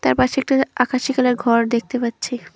তার পাশে একটা আকাশী কালার ঘর দেখতে পাচ্ছি।